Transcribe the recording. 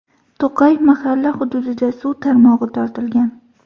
To‘qay mahalla hududida suv tarmog‘i tortilgan.